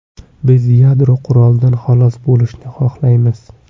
Biz yadro qurolidan xalos bo‘lishni xohlaymiz.